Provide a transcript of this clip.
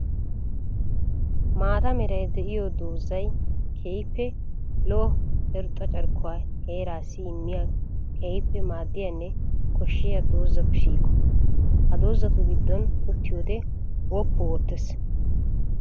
Maata meray de'iyo doozay keehippe lo'o irxxa carkkuwa heerassi immiya keehippe maadiyanne koshiya doozattu shiiqo. Ha doozattu gidon uttiyoode woppu ootees.